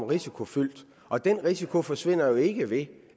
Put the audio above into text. risikofyldt og den risiko forsvinder jo ikke ved